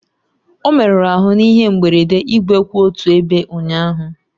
Ọ merụrụ ahụ n'ihe mberede igwe kwụ otu ebe ụnyaahụ